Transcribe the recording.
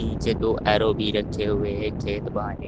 पीछे दो एरो भी रखे हुए हैं खेत वाहने--